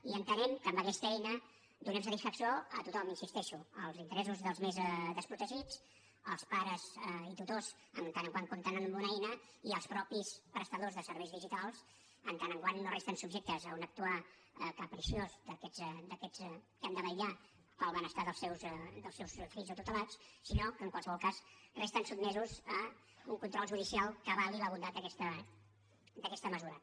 i entenem que amb aquesta eina donem satisfacció a tothom hi insisteixo als interessos dels més desprotegits als pares i tutors en tant que compten amb una eina i als mateixos prestadors de serveis digitals en tant que no resten subjectes a un actuar capriciós d’aquests que han de vetllar pel benestar dels seus fills o tutelats sinó que en qualsevol cas resten sotmesos a un control judicial que avali la bondat d’aquesta mesura